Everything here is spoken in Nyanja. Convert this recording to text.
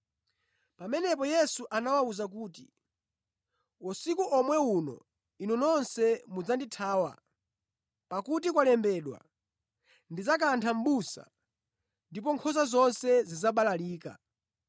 Pamenepo Yesu anawawuza kuti, “Usiku omwe uno inu nonse mudzandithawa, pakuti kwalembedwa: “ ‘Kantha mʼbusa, ndipo nkhosa zidzabalalika.’